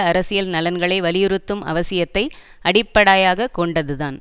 அரசியல் நலன்களை வலியுறுத்தும் அவசியத்தை அடிப்படாயாகக் கொண்டதுதான்